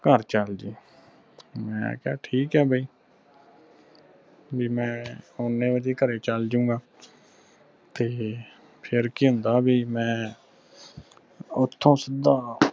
ਘਰ ਚਲ ਜੀ ਮੈਂ ਕਿਹਾ ਠੀਕ ਆ ਬਈ ਬਈ ਮੈਂ ਓਨੇ ਵਜੇ ਘਰ ਚਲ ਜੁ ਗਾ ਤੇ ਫਿਰ ਕੀ ਹੁੰਦਾ ਬਈ ਮੈਂ ਓਥੋਂ ਸਿੱਧਾ